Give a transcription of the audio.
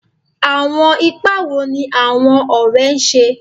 Awọn ipa wo ni awọn ọrẹ ṣe?